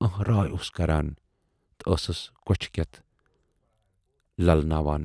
ٲنہراے اوس کران تہٕ ٲسٕس کۅچھِ کٮ۪تھ للہٕ ناوان۔